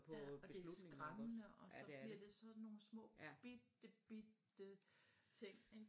Ja og det er skræmmende og så bliver det sådan nogle små bitte bitte ting ik